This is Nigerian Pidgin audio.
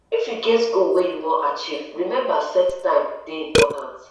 if you get goal wey you wan achieve remember set time dey important